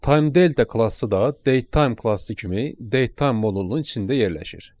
Time Delta klassı da datetime klassı kimi datetime modulunun içində yerləşir.